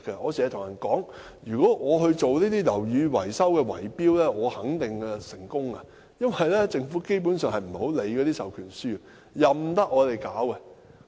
我經常說，如果我參與樓宇維修圍標，我肯定成功，因為政府基本上不太理會授權書，任由我們處理。